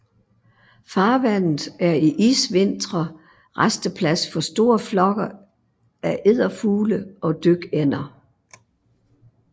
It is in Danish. Farvandet er i isvintre rasteplads for store flokke af edderfugle og dykænder